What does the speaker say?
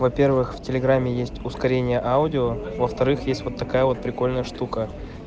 во-первых в телеграме есть ускорение аудио во-вторых есть вот такая вот прикольная штука